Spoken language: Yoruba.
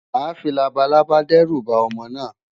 Màá fi labalábá dẹ́rù ba ọmọ náà.